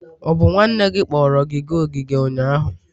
Ọ bụ nwanne gị kpọrọ gị gaa ogige ụnyahụ?